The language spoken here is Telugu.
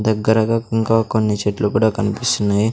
దగ్గరగా ఇంకా కొన్ని చెట్లు కూడా కనిపిస్తున్నాయ్.